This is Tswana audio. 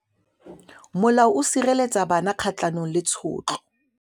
Molao o sireletsa bana kgatlhanong le tshotlo.